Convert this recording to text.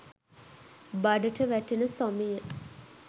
බඩට වැටෙන සොමිය